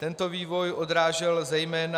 Tento vývoj odrážel zejména...